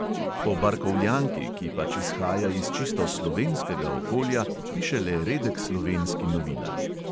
O barkovljanki, ki pač izhaja iz čisto slovenskega okolja, piše le redek slovenski novinar.